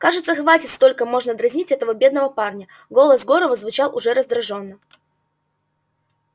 кажется хватит столько можно дразнить этого бедного парня голос горова звучал уже раздражённо